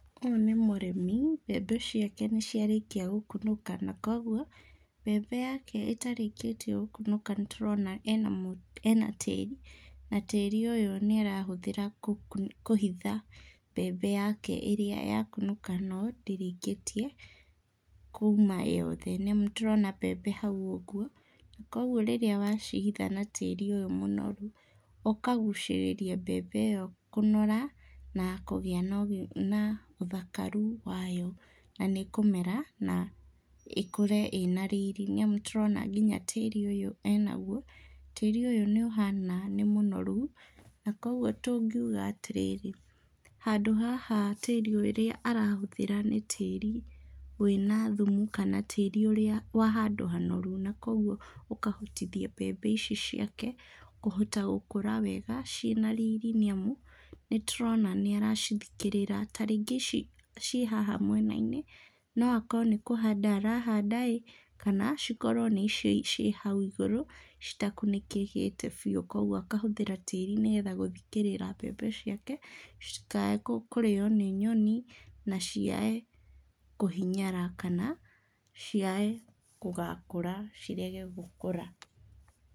Ũyũ nĩ mũrĩmi, mbembe ciake nĩ ciarĩkia gũkunũka na kũoguo, mbembe yake ĩtarĩkĩtie gũkunũka nĩtũrona ena tĩri, na tĩri ũyũ nĩ arahũthĩra kũhitha mbembe yake ĩrĩa yakunũka no ndĩrĩkĩtie kuma yothe, nĩamu nĩ tũrona mbembe hau ũguo, na kũoguo rĩrĩa wa cihitha natĩrĩ ũyũ mũnoru, ũkagucĩrĩria mbembe ĩo kũnora na kũgĩa na ũthakaru wayo na nĩ ĩkumera na ĩkũre ĩna riri nĩamu nĩ tũrona ngina tĩri ũyũ enaguo, tĩri ũyũ nĩ ũhana nĩ mũnoru na kũoguo tũngiuga atĩrĩrĩ, handũ haha tĩrĩ ũrĩa arahũthĩra nĩ tĩrĩ wĩna thumu kana tĩri ũrĩa wa handũ hanoru na kũoguo ũkahotithia mbembe ici ciake gũkũra wega ciĩna riri nĩamu nĩtũrona nĩaracithikĩrĩara, tarĩngĩ ici ciĩ haha mwena-inĩ, no akorwo nĩ kũhanda arahanda-ĩ kana cikorwo nĩ icio ciĩ hau igũrũ citakunĩkĩkĩte biũ, kũoguo akahũthĩra tĩri nĩgetha gũthikĩrĩra mbembe ciake citikae kũrĩo nĩ nyoni na ciae kũhinyara kana ciae gũgakũra cirege gũkũra.